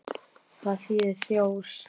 Hvað þýðir þjór?